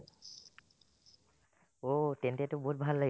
অ', তেন্তেটো বহুত ভাল লাগি